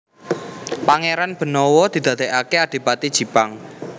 Pangéran Benawa didadèkaké Adipati Jipang